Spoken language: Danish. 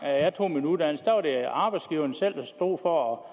jeg tog en uddannelse var det arbejdsgiverne selv der stod for at